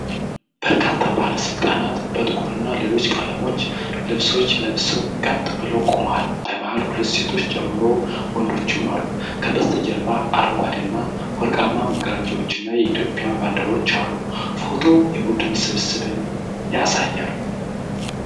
በርካታ ባለስልጣናት በጥቁርና ሌሎች ቀለሞች ልብሶች ለብሰው ቀጥ ብለው ቆመዋል። በመሃል ሁለት ሴቶችን ጨምሮ ወንዶችም አሉ። ከበስተጀርባ አረንጓዴና ወርቃማ መጋረጃዎችና የኢትዮጵያ ባንዲራዎች አሉ። ፎቶው የቡድን ስብሰባን ያሳያል።